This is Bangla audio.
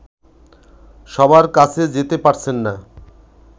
সবার কাছে যেতে পারছেন না